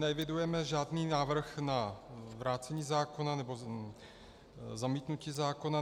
Neevidujeme žádný návrh na vrácení zákona nebo zamítnutí zákona.